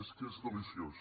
és que és deliciós